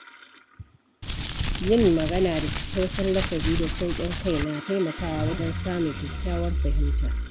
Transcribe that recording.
Yin magana da tattausan lafazi da sauƙin kai na taimakawa wajen samun kyakkyawar fahimta.